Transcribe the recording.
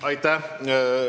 Aitäh!